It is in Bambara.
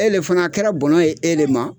E le fana, a kɛra bɔnɔ ye e le ma